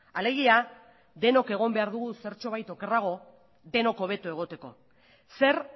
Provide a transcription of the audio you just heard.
alegia denok egon behar dugu zertxobait okerrago denok hobeto egoteko zer